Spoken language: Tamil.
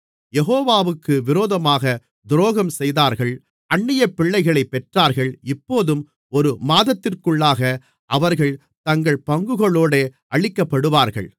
யெகோவாவுக்கு விரோதமாக துரோகம்செய்தார்கள் அந்நியபிள்ளைகளைப் பெற்றார்கள் இப்போதும் ஒரு மாதத்திற்குள்ளாக அவர்கள் தங்கள் பங்குகளோடே அழிக்கப்படுவார்கள்